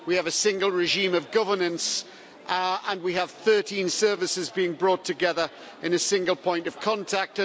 We have a single regime of governance and we have 13 services being brought together in a single point of contact.